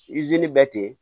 bɛ ten